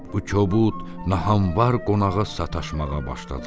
Bu kobud, nahanvar qonağa sataşmağa başladılar.